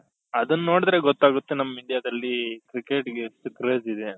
ಅದುನ್ ನೋಡುದ್ರೆ ಗೊತ್ತಾಗುತ್ತೆ ನಮ್ Indiaದಲ್ಲಿ cricket ಗೆ ಎಷ್ಟು craze ಇದೆ ಅಂತ